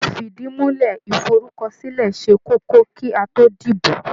Ifìdìmúlẹ́ iforúkọsílẹ̀ ṣe kókó kí a tó dìbò.